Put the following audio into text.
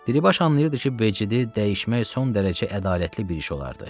Dilibaş anlayırdı ki, Becidi dəyişmək son dərəcə ədalətli bir iş olardı.